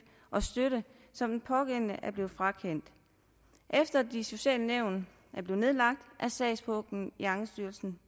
og støtte som den pågældende er blevet frakendt efter de sociale nævn er blevet nedlagt er sagspuklen i ankestyrelsen